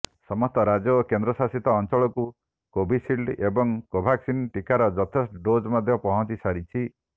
ସମସ୍ତ ରାଜ୍ୟ ଓ କେନ୍ଦ୍ରଶାସିତ ଅଞ୍ଚଳକୁ କୋଭିସିଲ୍ଡ ଏବଂ କୋଭାକ୍ସିନ୍ ଟିକାର ଯଥେଷ୍ଟ ଡୋଜ୍ ମଧ୍ୟ ପହଞ୍ଚିସାରିଛି